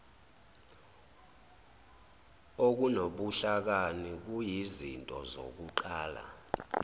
okunobuhlakani kuyizinto zokuqala